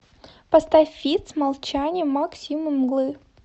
поставь фит с молчанием мак симы мглы